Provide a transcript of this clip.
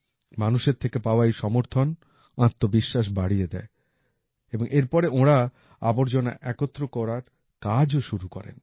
মানুষের থেকে পাওয়া এই সমর্থন আত্মবিশ্বাস বাড়িয়ে দেয় এর পরে ওঁরা আবর্জনা একত্র করার কাজও শুরু করেন